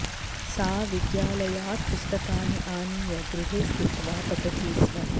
सा विद्यालयात् पुस्तकानि आनीय गृहे स्थित्वा पठति स्म